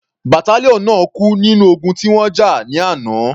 Battalion náà kú nínú ogun tí wọ́n jà ní àná.